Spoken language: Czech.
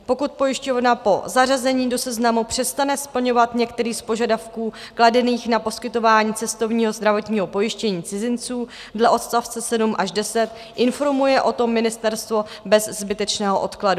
Pokud pojišťovna po zařazení do seznamu přestane splňovat některý z požadavků kladených na poskytování cestovního zdravotního pojištění cizinců dle odst. 7 až 10, informuje o tom ministerstvo bez zbytečného odkladu.